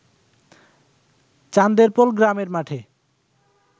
চান্দেরপোল গ্রামের মাঠে